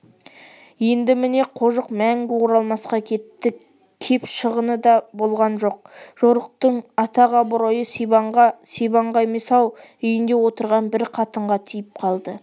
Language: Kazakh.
енді міне қожық мәңгі оралмасқа кетті кеп шығын да болған жоқ жорықтың атақ-абыройы сибанға сибанға емес-ау үйінде отырған бір қатынға тиіп қалды